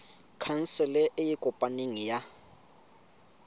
khansele e e kopaneng ya